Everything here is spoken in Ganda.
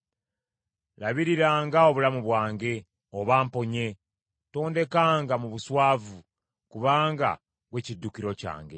Labiriranga obulamu bwange, obamponye; tondekanga mu buswavu, kubanga ggwe kiddukiro kyange.